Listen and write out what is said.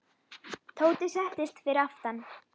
Tóti settist fyrir aftan.